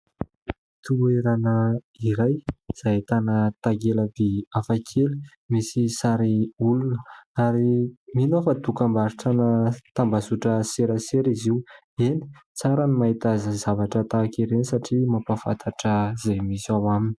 Toerana iray izay ahitana takela-by hafa kely misy sary olona ary mino aho fa dokam-barotrana tambazotra serasera izy io. Eny tsara no mahita zavatra tahaka ireny satria mampafantatra izay misy ao aminy.